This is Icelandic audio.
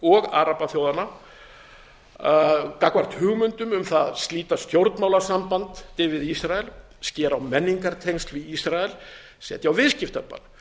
og arabaþjóðanna gagnvart hugmyndum um það að slíta stjórnmálasambandi við ísrael skera á menningartengsl við ísrael setja á viðskiptabann